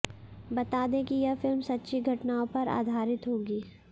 बता दें कि यह फिल्म सच्ची घटनाओं पर आधारित होगी